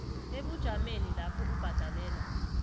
ebujameni lapho ubhadelela